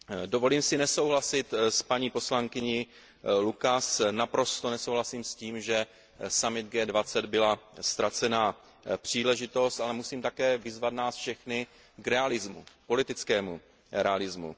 Dovolím si nesouhlasit s paní poslankyní Lucasovou, naprosto nesouhlasím s tím, že summit G20 byla ztracená příležitost, ale musím také vyzvat nás všechny k politickému realismu.